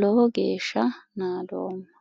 lowo geeshsha naadoomma.